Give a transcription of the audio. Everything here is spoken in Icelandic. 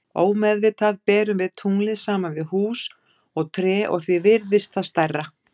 Ómeðvitað berum við tunglið saman við hús og tré og því virðist það stærra.